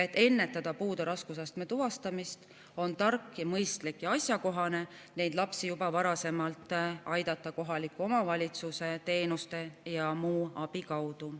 Et ennetada puude raskusastme tuvastamist, on tark, mõistlik ja asjakohane neid lapsi juba varasemalt aidata kohaliku omavalitsuse teenuste ja muu abi kaudu.